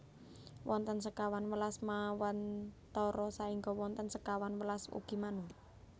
Wonten sekawan welas Manwantara saengga wonten sekawan welas ugi Manu